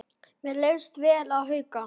Mér leist vel á Hauka.